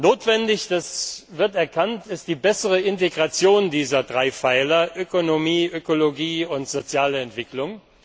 Notwendig das wird erkannt ist die bessere Integration dieser drei Pfeiler Ökonomie, Ökologie und soziale Entwicklung.